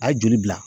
A ye joli bila